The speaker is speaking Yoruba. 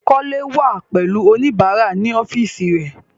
Kole wà pẹ̀lú oníbàárà ní ọ́fíìsì rẹẹ̀.